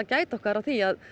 gæta okkar á því